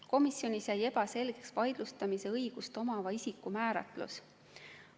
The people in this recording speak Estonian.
Komisjonis jäi ebaselgeks vaidlustamise õigust omava isiku määratlus.